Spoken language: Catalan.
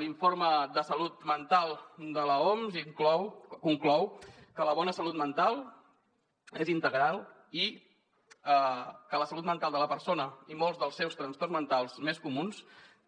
l’informe de salut mental de l’oms conclou que la bona salut mental és integral i que la salut mental de la persona i molts dels seus trastorns mentals més comuns